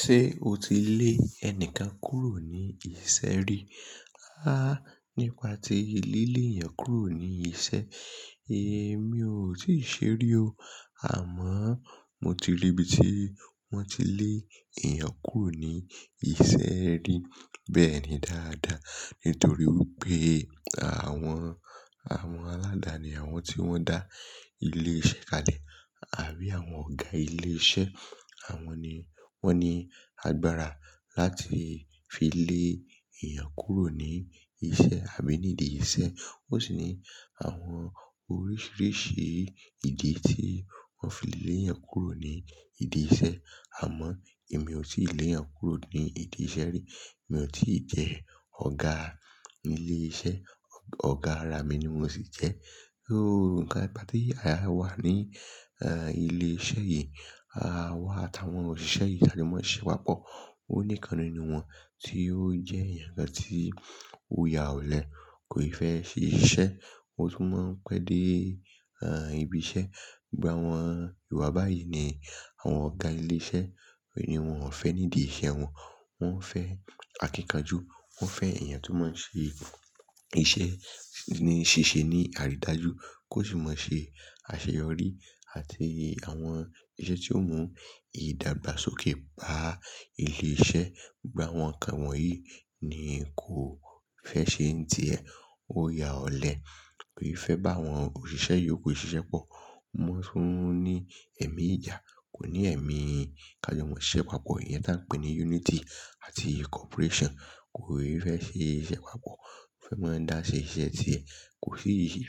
Ṣé o ti lé ẹni kan kúrò ní isẹ́ rí? Há! Nípa ti lí lè èèyàn kúrò ní isẹ́, èmi ò tíì ṣe rí o. Àmọ́ mo ti rí ibi tí wọ́n ti lé èèyàn kúrò ní isẹ́ rí bẹ́ẹ̀ ni dáadáa. Nítorí wípé àwọn, àwọn aládani àwọn tí wọ́n dá ilé iṣẹ́ kalẹ̀ àbí àwọn ọ̀gá ilé iṣẹ́, àwọn ni wọ́n ní agbára láti fi lé èèyàn kúrò ní isẹ́ àbí nídi isẹ́. Ó sì ní àwọn oríṣiríṣi ìdí tí wọ́n fi lé èèyàn kúrò nídi isẹ́. Àmọ́ èmi ò tíì lé èèyàn kúrò nídi isẹ́ rí. Èmi ò tí jẹ́ ọ̀gá ilé iṣẹ́. Ọ̀gá ara mi ni mo sì jẹ́. Óún kà, nípa tí aya wa ní, eh, ilé iṣẹ́ yìí, àwa àtàwọn òṣìṣẹ́ yìí ká jó mọ́n ṣẹ́ íṣẹ́ pàpọ̀. Ó níkan ninú wọ́n tí ó jẹ́ èèyàn kan tí ó ya ọ̀lẹ, kò ì fẹ́ ṣe iṣẹ́, ó tún máa ń pẹ́ dé, ah, ibi iṣẹ́. Gba àwọn ìwà báyìí ni àwọn ọ̀gá ilé iṣẹ́, òní wọn ò fẹ́ nídi isẹ́ wọn. Wọ́n fẹ́ akíkanjú, wọ́n fẹ́ èèyàn tó máa ṣe iṣẹ́ ní ṣìṣe ní àrídájú, kó sì máa ṣe àṣeyọrí àti àwọn iṣẹ́ tí ó mú ìdàgbàsókè bá ilé iṣẹ́. Gba àwọn nǹkan wọ̀nyí ni kò fẹ́ ṣe ń tì ẹ́. Ó ya ọ̀lẹ, kò ì fẹ́ bá àwọn òṣìṣẹ́ yòókù ṣiṣẹ́ pọ̀. Ó mọ́ tún ní ẹ̀mí ìjà, kò ní ẹ̀mí ká jó mọ́n ṣẹ́ íṣẹ́ pàpọ̀. Ìyẹn tá a ń pè ní unity àti corporation. Kò ì fẹ́ ṣe iṣẹ́ pàpọ̀, ó fẹ́ máa dá ṣe iṣẹ́ ti ẹ̀, kò sì rí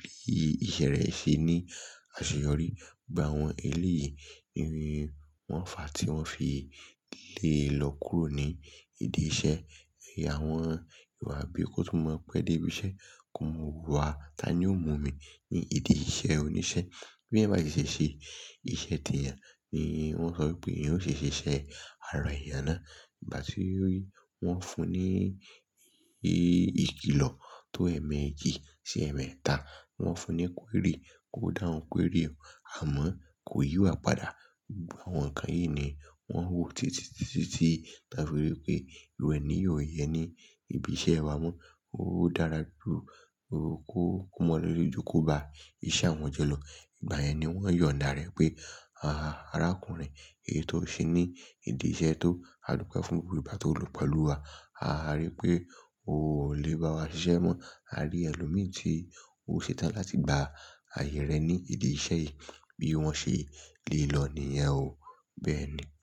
ìṣe rẹ̀ ṣe ní àṣeyọrí. Gba àwọn èlé yìí ni wọ́n fà tí wọ́n fi lè lọ kúrò nídi isẹ́. Ẹ̀ya àwọn ìwà bí kó tún máa ń pẹ́ dé ibi iṣẹ́. Ko mọ̀ wa, ta ni ó mú mí nídi isẹ́ oníṣẹ́. Bí ẹ̀ bá ti ṣè ṣe iṣẹ́ tèèyàn ni wọ́n sọ wípé ìyẹn ó ṣe ṣíṣe ara èèyàn náà. Bá ti rí, wọ́n fún un ní ìkìlọ̀ tó ẹ̀ẹ̀mẹ́jì sí ẹ̀ẹ̀mẹ́ta. Wọ́n fún un ní query, ko dáwun query àmọ́ kò yí wá padà. Gba àwọn nǹkan yìí ni wọ́n wò títìtítítí táa fi rí i pé ìrú éni yì ó yẹn ní ibi iṣẹ́ wa mọ́. Ó dára ju kó kú mọ́ lọ jú kí ó bá iṣẹ́ àwọn jọ lọ. Ìgbà yẹn ni wọ́n yọ̀ǹda rẹ̀ pé, "Àrákùnrin, èyí tó ń ṣe ní ìdí iṣẹ́ tó, a dúpẹ́ fún gbogbo ìgbá tó ń lu pẹ̀lú wa. A rí pé o ò lè bá wa ṣiṣẹ́ mọ́. A rí ẹlòmíràn tí ó ṣe tán láti gba ààyè rẹ ní ìdí iṣẹ́ yìí." Bí wọ́n ṣe lè lọ ni ìyẹn ó. Bẹ́ẹ̀ ni.